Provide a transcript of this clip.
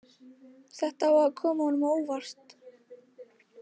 Þetta á að koma honum á óvart.